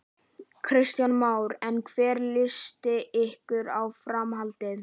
Kristján Már: En hvernig líst ykkur á framhaldið?